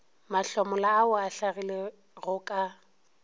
mahlomola ao a hlagilego ka